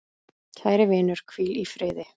Kæri vinur, hvíl í friði.